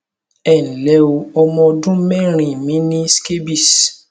ẹ ǹ lẹ o ọmọ ọdún mẹrin mi ní scabies